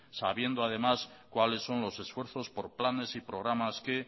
sabiendo además cuáles son los esfuerzos por planes y programas que